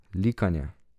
Likanje.